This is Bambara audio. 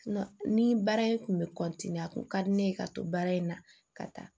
Ni baara in kun bɛ a kun ka di ne ye ka to baara in na ka taa